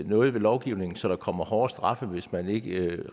noget ved lovgivningen så der kommer hårdere straffe hvis man ikke